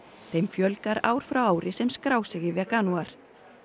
þeim fjölgar ár frá ári sem skrá sig í veganúar